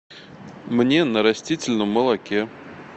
мне на растительном молоке